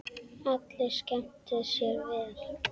Allir skemmtu sér vel.